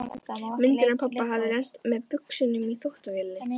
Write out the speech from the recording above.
Myndin af pabba hafði lent með buxunum í þvottavélinni.